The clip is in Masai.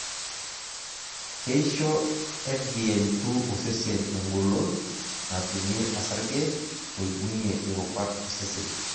Keisho FBN2 osesen egolon natumie osarge oibungie irubat osesen.